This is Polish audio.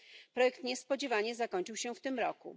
Projekt niespodziewanie zakończył się w tym roku.